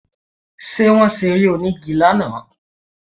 Ṣé Wọ́n ṣe eré orí onígi lánàá?